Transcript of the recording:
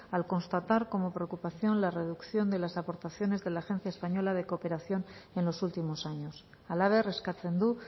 al constatar como preocupación la reducción de las aportaciones de la agencia española de cooperación en los últimos años halaber eskatzen du